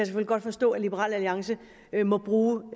godt forstå at liberal alliance må bruge